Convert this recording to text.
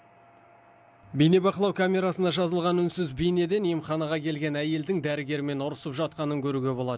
бейнебақылау камерасына жазылған үнсіз бейнеден емханаға келген әйелдің дәрігермен ұрысып жатқанын көруге болады